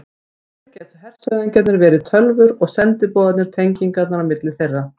Hér gætu hershöfðingjarnir verið tölvur og sendiboðarnir tengingarnar á milli þeirra.